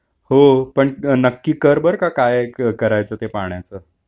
अच्छा हो पण नक्की कर बर का काय करायच ते पाण्याच